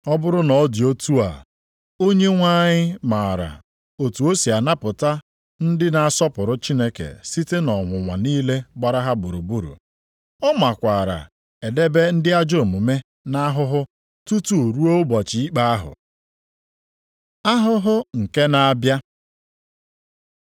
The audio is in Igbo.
Ọ bụrụ na ọ dị otu a, Onyenwe anyị maara otu o si anapụta ndị na-asọpụrụ Chineke site nʼọnwụnwa niile gbara ha gburugburu. Ọ makwaara edebe ndị ajọ omume nʼahụhụ, tutu ruo ụbọchị ikpe ahụ. Ahụhụ nke na-abịa